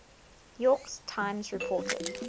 york times reported